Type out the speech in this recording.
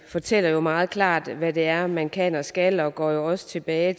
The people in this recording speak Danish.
fortæller jo meget klart hvad det er man kan og skal og går jo også tilbage